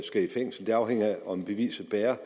i fængsel det afhænger af om beviset bærer